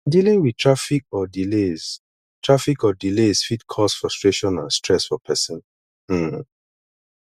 dealing with traffic or delays traffic or delays fit cause frustration and stress for pesin um